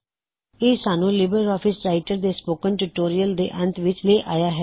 ਇਹ ਸਾਨੂੰ LibreOffice Writer ਦੇ ਸਪੋਕਨ ਟਿਊਟੋਰਿਯਲ ਦੇ ਅੰਤ ਵਿੱਚ ਲੈ ਆਇਆ ਹੈ